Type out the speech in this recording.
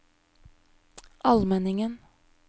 Almenningen